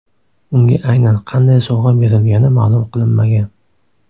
Unga aynan qanday sovg‘a berilgani ma’lum qilinmagan.